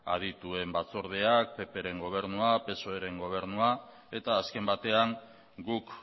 adituen batzordeak ppren gobernua psoeren gobernua eta azken batean guk